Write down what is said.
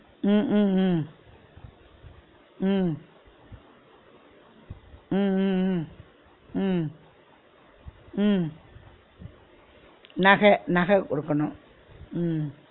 உம் உம் உம் உம் உம் உம் உம் உம் உம் நக நக குடுக்கனு உம்